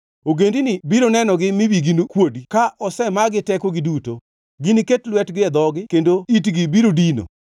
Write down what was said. Ogendini biro nenogi mi wigi kuodi ka osemagi tekogi duto. Giniket lwetgi e dhogi kendo itgi biro dino.